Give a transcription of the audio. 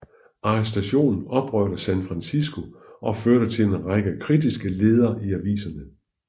Arrestationen oprørte San Francisco og førte til en række kritiske ledere i aviserne